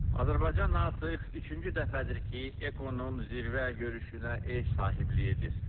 Azərbaycan artıq üçüncü dəfədir ki, Ekonun zirvə görüşünə ev sahibliyi edir.